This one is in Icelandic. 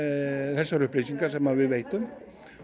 þessar upplýsingar sem við veitum